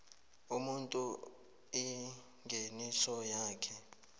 umuntu ingeniso yakhe